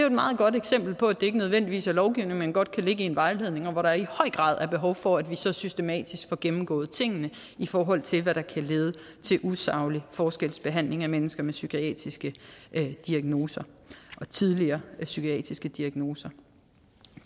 et meget godt eksempel på at det ikke nødvendigvis er lovgivning men godt kan ligge i en vejledning og hvor der i høj grad er behov for at vi så systematisk får gennemgået tingene i forhold til hvad der kan lede til usaglig forskelsbehandling af mennesker med psykiatriske diagnoser og tidligere psykiatriske diagnoser